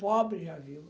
Pobre, já viu?